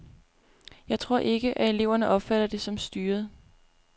Jeg tror ikke, at eleverne opfatter det som styret.